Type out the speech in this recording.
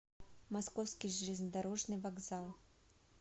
московский железнодорожный вокзал